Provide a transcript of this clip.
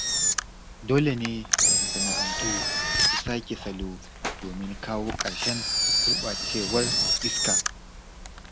Dole ne masana'antu su sake salo, domin kawo ƙarshen gurɓacewar iska.